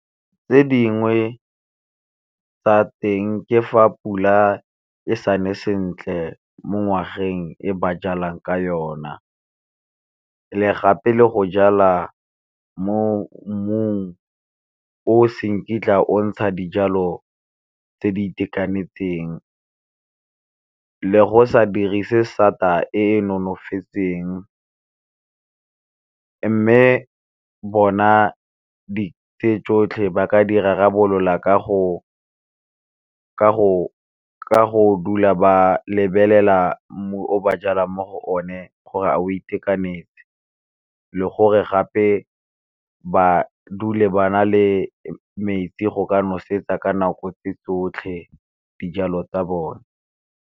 Tse dingwe tsa teng ke fa pula e sane sentle mo ngwageng e ba jalang ka yona, le gape le go jala mo mmung o se nkitla o ntsha dijalo tse di itekanetseng le go sa dirise sata e e nonofetseng. Mme bona di tee tsotlhe ba ka di rarabolola ka go dula ba lebelela mmu o ba jalang mo go o ne gore a o itekanetse, le gore gape ba dule ba na le metsi go ka nosetsa ka nako tse tsotlhe dijalo tsa bone.